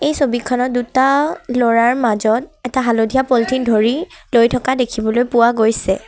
এই ছবিখনত দুটা ল'ৰাৰ মাজত এটা হালধীয়া পলিথিন ধৰি লৈ থকা দেখিবলৈ পোৱা গৈছে।